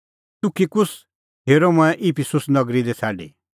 तुखिकुस हेरअ मंऐं इफिसुस नगरी लै छ़ाडी